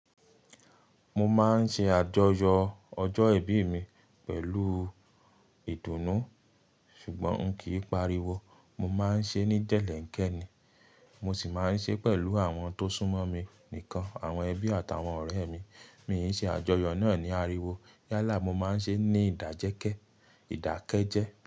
Mo máa ń ṣe àjọyọ̀ ọjọ́ ìbí mi pẹ̀lú ìdùnnú ṣùgbọ́n kì í pariwo. Mo máa ń ṣe ní jẹ̀'lẹ́ńkẹ́ ni. Mo sì máa ń ṣe pẹ̀lú àwọn tó sún mọ́ mi nìkan, àwọn ẹbí àtàwọn ọ̀rẹ́ mi. Mi ò ṣe àjọyọ̀ náà ní ariwo yálà, mo máa ń ṣe ní ìdájẹ́kẹ́, ìdákẹ́jẹ́